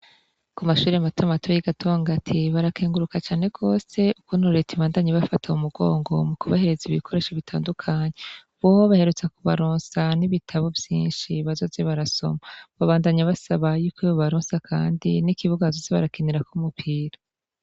kumashure matamato y'igatongati barakenguruka cane gose ukuntu reta ibandanya ibafata m'umugongo mukubahereza ibikoresho bitandukanye. Bobo baherutse kubaronsa n'ibitabo vyinshi bazoza barasoma. Babandanya basaba yuko bobaronsa kandi n'ikibuga bazoze barakenirak'umupira.